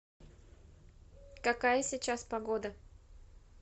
какая сейчас погода